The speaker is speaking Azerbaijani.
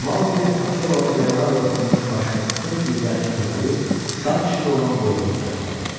Mauqli Akelanın yaralarla örtülmüş başını öz dizləri üstünə qoyub qan içində olan boynunu qucaqladı.